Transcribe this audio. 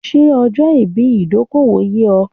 Ṣé ọja ipin ìdókòwò yé o?